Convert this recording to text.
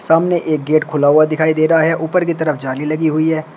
सामने एक गेट खुला हुआ दिखाई दे रहा है ऊपर की तरफ जाली लगी हुई है।